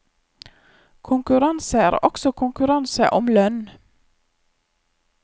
Konkurranse er også konkurranse om lønn.